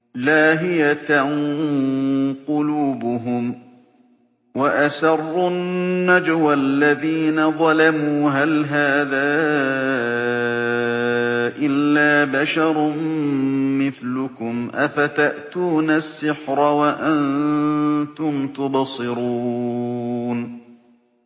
لَاهِيَةً قُلُوبُهُمْ ۗ وَأَسَرُّوا النَّجْوَى الَّذِينَ ظَلَمُوا هَلْ هَٰذَا إِلَّا بَشَرٌ مِّثْلُكُمْ ۖ أَفَتَأْتُونَ السِّحْرَ وَأَنتُمْ تُبْصِرُونَ